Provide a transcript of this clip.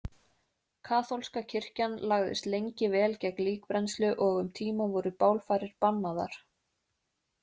Kaþólska kirkjan lagðist lengi vel gegn líkbrennslu og um tíma voru bálfarir bannaðar.